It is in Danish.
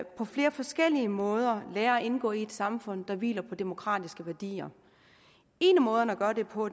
på flere forskellige måder lærer at indgå i et samfund der hviler på demokratiske værdier en af måderne at gøre det på